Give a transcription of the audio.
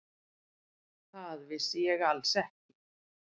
Það vissi ég alls ekki.